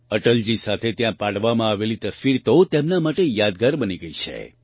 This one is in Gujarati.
અટલજી સાથે ત્યાં પાડવામાં આવેલી તસવીર તો તેમના માટે યાદગાર બની ગઈ છે